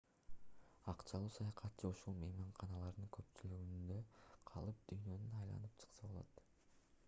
акчалуу саякатчы ушул мейманканалардын көпчүлүгүндө калып дүйнөнү айланып чыкса болот